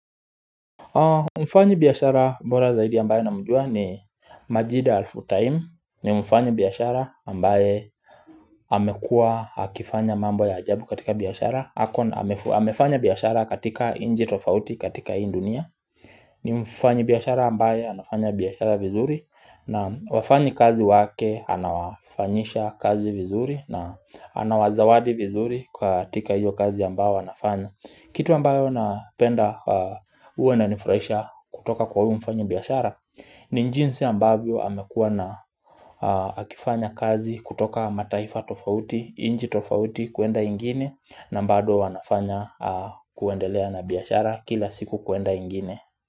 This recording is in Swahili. Mfanyibiashara bora zaidi ambayo namjua ni Majida Al Futtaim ni mfanyibiashara ambaye amekua akifanya mambo ya ajabu katika biashara ako na amefanya biashara katika nchi tofauti katika hii dunia ni mfanyi biashara ambaye anafanya biashara vizuri na wafanyikazi wake anawafanyisha kazi vizuri na anawazawadi vizuri katika hiyo kazi ambayo wanafanya kitu ambayo napenda huwa inanifurahisha kutoka kwa huyu mfanyibiashara ni jinsi ambayo amekua na akifanya kazi kutoka mataifa tofauti, nchi tofauti kuenda ingine na bado anafanya kuendelea na biashara kila siku kuenda ingine.